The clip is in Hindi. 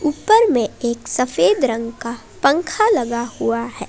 ऊपर में एक सफ़ेद रंग का पंखा लगा हुआ है।